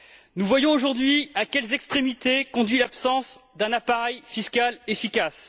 Nous voyons aujourd'hui à quelles extrémités conduit l'absence d'un appareil fiscal efficace.